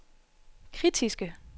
kritiske